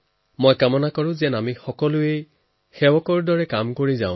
আমি বিচাৰো আমি সকলো সেৱক হৈ কাম কৰি যাম